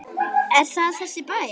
Er það þessi bær?